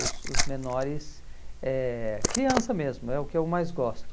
Os os menores, eh criança mesmo, é o que eu mais gosto.